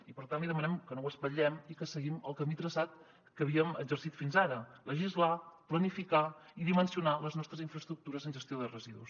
i per tant li demanem que no ho espatllem i que seguim el camí traçat que havíem exercit fins ara legislar planificar i dimensionar les nostres infraestructures en gestió de residus